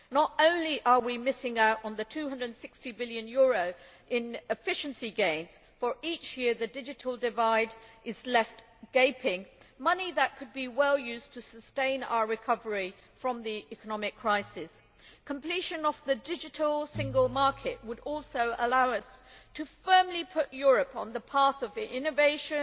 Not only are we missing out on EUR 260 billion in efficiency gains for each year the digital divide is left gaping money that could be well used to sustain our recovery from the economic crisis but completion of the Digital Single Market would also allow us to put Europe firmly on the path of innovation,